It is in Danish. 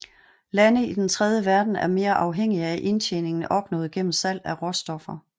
Lande i Den tredje verden er mere afhængige af indtjeningen opnået gennem salg af råstoffer